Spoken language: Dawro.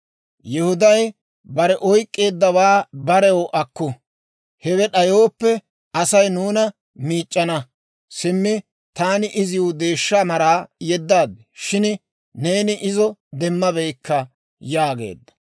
Yihuday, «Bare oyk'k'eeddawaa barew akku; hewe d'ayooppe, Asay nuuna miic'c'ana. Simmi taani iziw deeshsha maraa yeddaad; shin neeni izo demmabeykka» yaageedda.